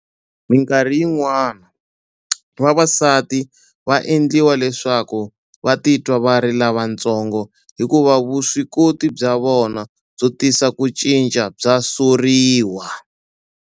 Mikarhi yin'wana, vavasati va endliwa leswaku va titwa va ri lavatsongo hikuva vuswikoti bya vona byo tisa ku cinca bya soriwa.